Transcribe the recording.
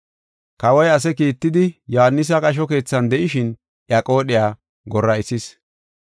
Kawoy ase kiittidi Yohaanisi qasho keethan de7ishin iya qoodhiya gora7isis.